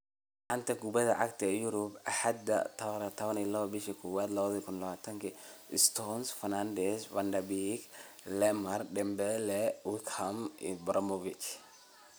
Xanta Kubadda Cagta Yurub Axad 12.01.2020: Stones, Fernandes, Van de Beek, Lemar, Dembele, Wickham, Ibrahimovic